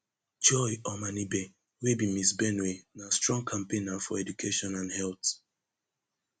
joy omanibe wey be miss benue na strong campaigner for education and health